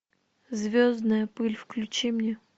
звездная пыль включи мне